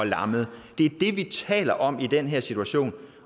lammet det er det vi taler om i den her situation